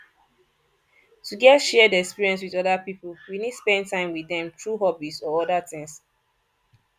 to get shared experience with oda pipo we need spend time with dem through hobbies or oda things